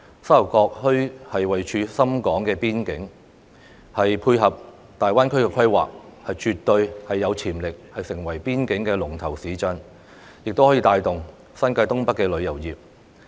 沙頭角墟位處深港邊境，可配合大灣區規劃，絕對有潛力成為邊境的龍頭市鎮，亦可以帶動新界東北的旅遊業。